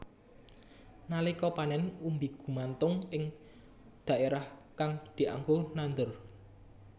Nalika panén umbi gumantung ing dhaérah kang dianggo nandur